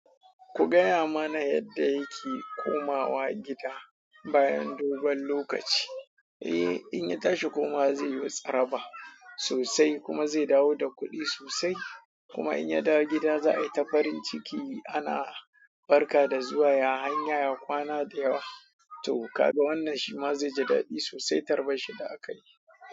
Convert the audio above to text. Ku gaya mana yadda yake komawa gida bayan dogon lokaci? Eh, in ya tashi komawa zai yo tsaraba sosai kuma zai dawo da kuɗi sosai. Kuma in ya dawo gida za a yi ta farin ciki ana barka da zuwa ya hanya ya kwana da yawa. To ka ga wannan shi ma zai ji daɗi sosai tarbar shi da aka yi.